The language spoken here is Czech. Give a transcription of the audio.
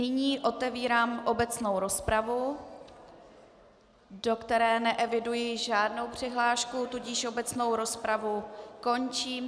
Nyní otevírám obecnou rozpravu, do které neeviduji žádnou přihlášku, tudíž obecnou rozpravu končím.